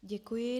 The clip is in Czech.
Děkuji.